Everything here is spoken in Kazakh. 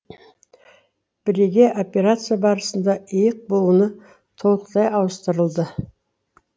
бірегей операция барысында иық буыны толықтай ауыстырылды